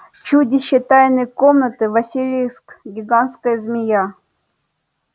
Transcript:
чудище тайной комнаты василиск гигантская змея